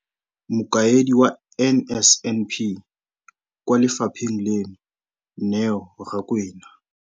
Mokaedi wa NSNP kwa lefapheng leno, Neo Rakwena,